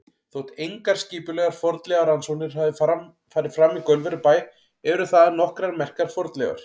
Þótt engar skipulegar fornleifarannsóknir hafi farið fram í Gaulverjabæ eru þaðan nokkrar merkar fornleifar.